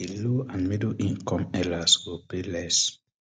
di low and middle income earlers go pay less